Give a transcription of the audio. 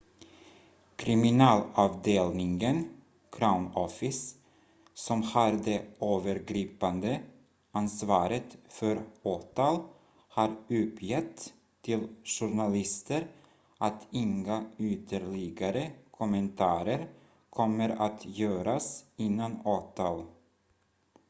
kriminalavdelningen crown office som har det övergripande ansvaret för åtal har uppgett till journalister att inga ytterligare kommentarer kommer att göras innan åtal